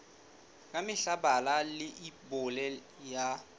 ka mehla bala leibole ya